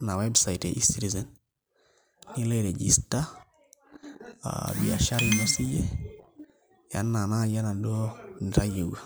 ina website eCitizen nilo airegister biashara ino siyie enaa nai enaduo nitayieua.